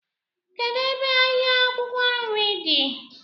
Kedụ ebe ahịa akwụkwọ nri dị?